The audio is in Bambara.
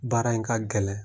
Baara in ka gɛlɛn.